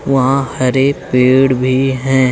वहां हरे पेड़ भी हैं।